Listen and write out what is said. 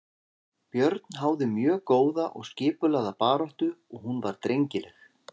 Björn háði mjög góða og skipulagða baráttu og hún var drengileg.